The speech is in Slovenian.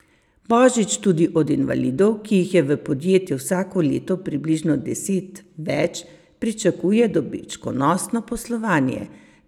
Božič tudi od invalidov, ki jih je v podjetju vsako leto približno deset več, pričakuje dobičkonosno poslovanje.